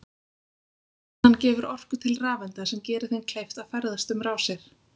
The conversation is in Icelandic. Spennan gefur orku til rafeinda sem gerir þeim kleift að ferðast um rásir.